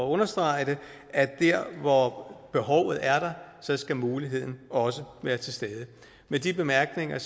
understrege at der hvor behovet er der skal muligheden også være til stede med de bemærkninger